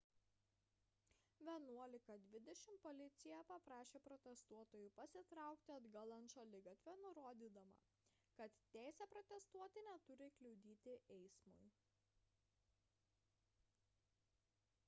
11:20 val policija paprašė protestuotojų pasitraukti atgal ant šaligatvio nurodydama kad teisė protestuoti neturi kliudyti eismui